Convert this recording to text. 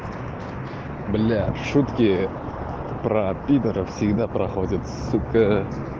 юля шутки про пидоров всегда проходят суко